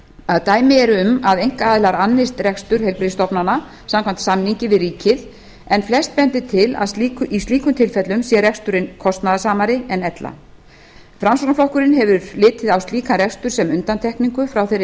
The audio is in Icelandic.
að dæmi eru um að einkaaðilar annist rekstur heilbrigðisstofnana samkvæmt samningi við ríkið en flest bendir til að í slíkum tilfellum sé reksturinn kostnaðarsamari en ella framsóknarflokkurinn hefur litið á slíkan rekstur sem undantekningu frá þeirri